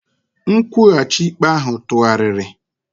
Nkwụghachi ikpe ahụ tụgharịrị.